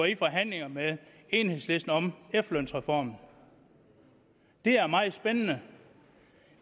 i forhandlinger med enhedslisten om efterlønsreformen det er meget spændende